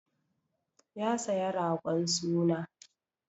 Ya saya ragon suna.